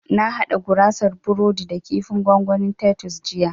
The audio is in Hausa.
Na haɗa gurasar burodi da kifin gwangwanin tatus jiya